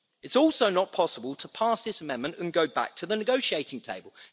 It is also not possible to pass this amendment and go back to the negotiating table